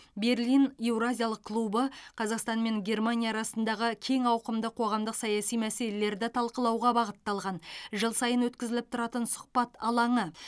берлин еуразиялық клубы қазақстан мен германия арасындағы кең ауқымды қоғамдық саяси мәселелерді талқылауға бағытталған жыл сайын өткізіліп тұратын сұхбат алаңы